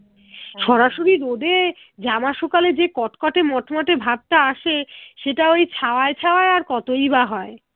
সরাসরি রোদে জামা সুখালে যে কটকটে মট মটে ভাবটা আসে সেটা ওই ছাওয়াই ছাওয়াই আর কতই বা হয়